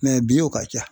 bi wo ka ca